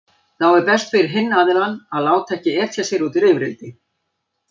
Þá er best fyrir hinn aðilann að láta ekki etja sér út í rifrildi.